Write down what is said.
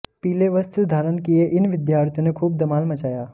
पीले वस्त्र धारण किए इन विद्यार्थियों ने खूब धमाल मचाया